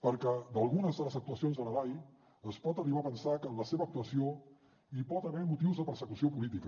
perquè d’algunes de les actuacions de la dai es pot arribar a pensar que en la seva actuació hi pot haver motius de persecució política